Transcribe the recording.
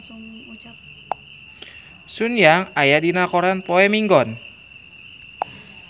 Sun Yang aya dina koran poe Minggon